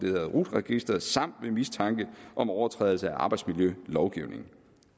hedder rut registeret samt ved mistanke om overtrædelse af arbejdsmiljølovgivningen